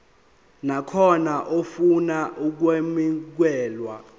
nakhona ofuna ukwamukelwa